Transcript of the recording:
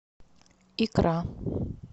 икра